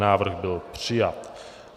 Návrh byl přijat.